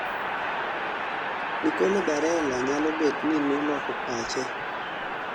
nicolo barella nyalo bet ni noloko pache